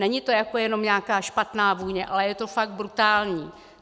Není to jako jenom nějaká špatná vůně, ale je to fakt brutální!